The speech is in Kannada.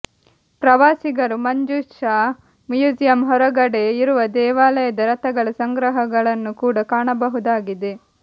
ಪ್ರವಾಸಿಗರು ಮಂಜುಷ ಮ್ಯೂಸಿಯಂ ಹೊರಗಡೆ ಇರುವ ದೇವಾಲಯದ ರಥಗಳ ಸಂಗ್ರಹಗಳನ್ನು ಕೂಡ ಕಾಣಬಹುದಾಗಿದೆ